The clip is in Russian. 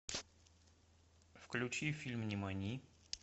включи фильм нимани